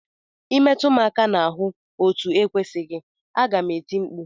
Ị metụ m aka n'ahụ etu ekwesịghị, aga m eti mkpu!